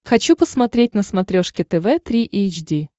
хочу посмотреть на смотрешке тв три эйч ди